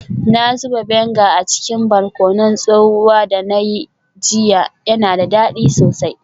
Na zuba vinegar a cikin barkonon tsohuwa da na yi jiya, yana da dadi sosai.